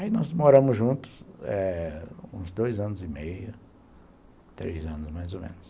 Aí nós moramos juntos eh uns dois anos e meio, três anos mais ou menos.